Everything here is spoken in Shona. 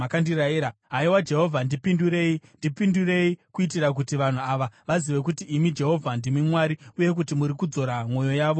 Haiwa Jehovha, ndipindurei, ndipindurei, kuitira kuti vanhu ava vazive kuti imi, Jehovha, ndimi Mwari, uye kuti muri kudzora mwoyo yavo zvakare.”